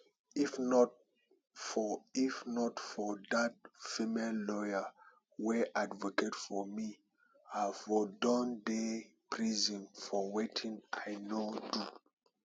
if not for if not for dat female lawyer wey advocate for me i for don dey prison for wetin i no do